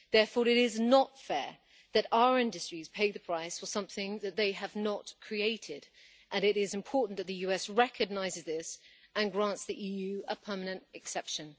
Therefore it is not fair that our industries pay the price for something that they have not created, and it is important that the US recognises this and grants the EU a permanent exception.